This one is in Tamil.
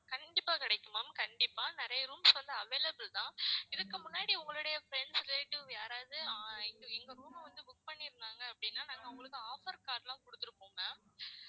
கண்டிப்பா கிடைக்கும் ma'am கண்டிப்பா நிறைய rooms வந்து available தான் இதுக்கு முன்னாடி உங்களுடைய friends relative யாராவது அஹ் இங்க இங்க room அ வந்து book பண்ணிருந்தாங்க அப்படின்னா நாங்க அவங்களுக்கு offer card லாம் கொடுத்திருப்போம் ma'am